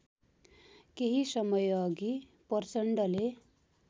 केही समयअघि प्रचण्डले